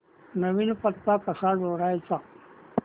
नवीन पत्ता कसा जोडायचा